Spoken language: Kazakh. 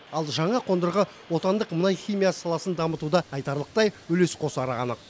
ал жаңа қондырғы отандық мұнай химиясы саласын дамытуда айтарлықтай үлес қосары анық